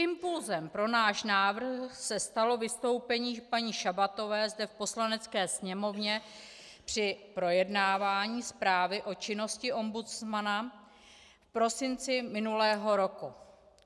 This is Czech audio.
Impulsem pro náš návrh se stalo vystoupení paní Šabatové zde v Poslanecké sněmovně při projednávání zprávy o činnosti ombudsmana v prosinci minulého roku.